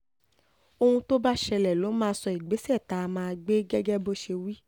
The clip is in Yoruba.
ohun tó bá ṣẹlẹ̀ ló máa sọ ìgbésẹ̀ tá a máa gbé gẹ́gẹ́ bó ṣe wí